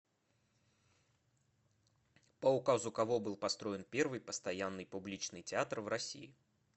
по указу кого был построен первый постоянный публичный театр в россии